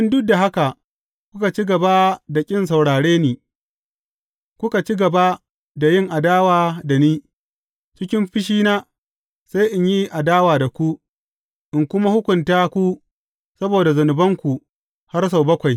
In duk da haka kuka ci gaba da ƙin saurare ni, kuka ci gaba da yin adawa da ni, cikin fushina, sai in yi adawa da ku, in kuma hukunta ku saboda zunubanku har sau bakwai.